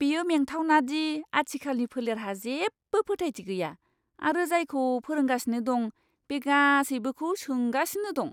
बेयो मेंथावना दि आथिखालनि फोलेरहा जेबो फोथायथि गैया आरो जायखौ फोरोंगासिनो दं बे गासैबोखौ सोंगासिनो दं।